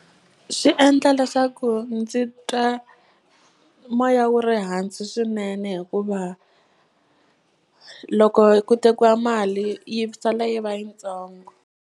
Swi endla leswaku ndzi twa moya wu ri hansi swinene hikuva loko ku tekiwa mali yi sala yi va yitsongo.